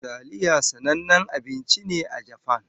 Taliya sanannen abinci ne a Japan.